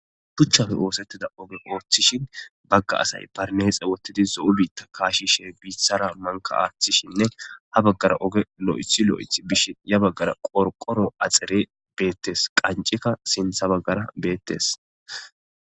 Tuchchafe oosettida oge ooththishin bagga asay barneexe wottidi so'u biitta kaashishe biithara manka aaththishinne ha baggara oge lo'ethi lo'eth bishin ya baggara qorqoro axere beettes qanceka sintha baggara beettes